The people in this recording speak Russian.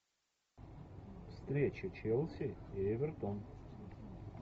встреча челси и эвертон